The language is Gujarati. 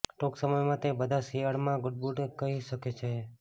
ટૂંક સમયમાં તે બધા શિયાળામાં ગુડબાય કહે શક્ય હશે